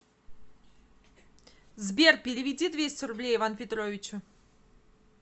сбер переведи двести рублей иван петровичу